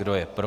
Kdo je pro?